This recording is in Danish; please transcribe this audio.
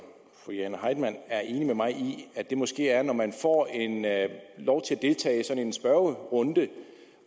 fru jane heitmann er enig med mig i at det måske er når man får lov til at deltage i sådan en spørgerunde